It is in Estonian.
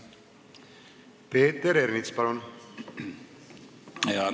Peeter Ernits, palun!